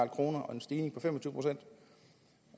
kroner en stigning på fem